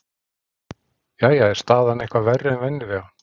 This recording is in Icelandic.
Jæja, er staðan eitthvað verri en venjulega?